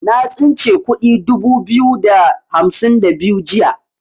Na tsince kudi dubu biyu da hamsin da biyu jiya.